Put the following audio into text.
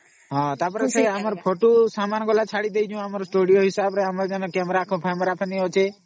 ତା ପରେ ସେ ଛୋଟୁ camera man ଆସିବା video ଫୋଟୋ ପାଇଁ ଯୋଉstudio ଅଛେ